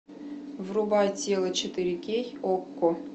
врубай тело четыре кей окко